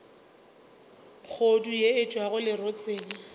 kgodu yeo e tšwago lerotseng